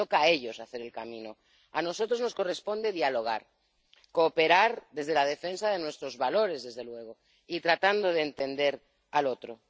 Les toca a ellos hacer el camino. A nosotros nos corresponde dialogar, cooperar desde la defensa de nuestros valores, desde luego, y tratando de entender al otro.